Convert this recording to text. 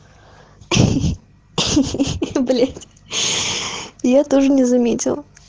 блять я тоже не заметила